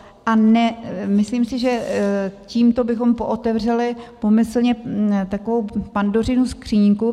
A myslím si, že tímto bychom pootevřeli pomyslně takovou Pandořinu skříňku.